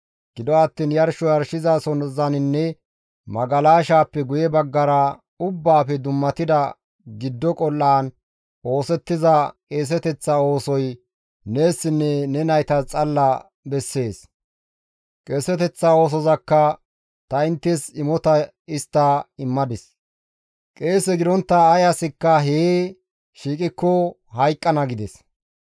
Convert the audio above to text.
Gido attiin yarsho yarshizasozaninne magalashaappe guye baggara ubbaafe dummatida giddo qol7aan oosettiza qeeseteththa oosoy neessinne ne naytas xalla bessees; qeeseteththa oosozakka ta inttes imota histta immadis; qeese gidontta ay asikka hee shiiqikko hayqqana» gides.